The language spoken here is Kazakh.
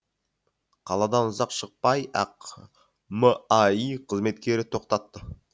қаладан ұзап шықпай ақ маи қызметкері тоқтатты